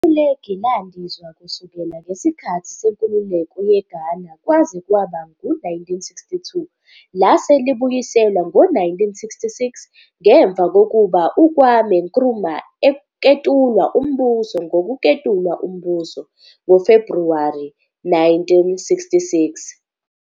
Ifulegi landizwa kusukela ngesikhathi senkululeko yeGhana kwaze kwaba ngu-1962, lase libuyiselwa ngo-1966 ngemva kokuba uKwame Nkrumah eketulwa umbuso ngokuketulwa umbuso. ngoFebhruwari 1966.